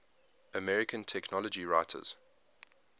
american technology writers